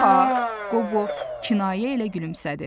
Yox ha, Qobo kinayə ilə gülümsədi.